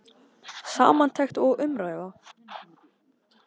Samantekt og umræða